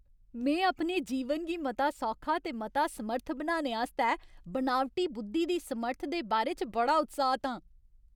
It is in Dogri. में अपने जीवन गी मता सौखा ते मता समर्थ बनाने आस्तै बनावटी बुद्धी दी समर्थ दे बारे च बड़ा उत्साहत आं।